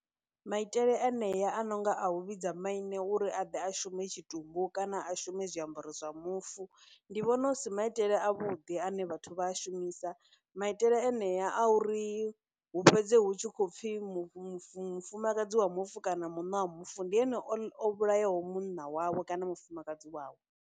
Maitele enea a nonga a u vhidza maine uri a ḓe a shume tshitumbu kana a shume zwiambaro zwa mufu, ndi vhona hu si maitele a vhuḓi ane vhathu vha a shumisa, maitele enea a uri hu fhedze hu khou pfhi mufumakadzi wa mufu kana munna wa mufu ndi ene o vhulayaho munna wawe kana mufumakadzi wawe.